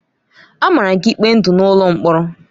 A mara gị ikpe ndụ n'ụlọ mkpọrọ!